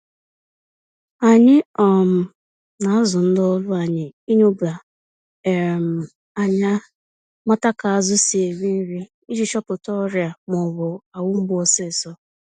Anyị um na-azụ ndị ọrụ anyị ịnyoba um ányá mata ka azụ si eri nri, iji chọpụta ọrịa m'ọbụ ahụ mgbu ọsịsọ.